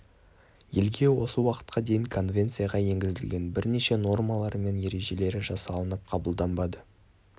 елде осы уақытқа дейін конвенцияға енгізілген бірнеше номалары мен ережелері жасалынып қабылданбады